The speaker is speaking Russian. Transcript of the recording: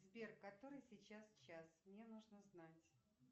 сбер который сейчас час мне нужно знать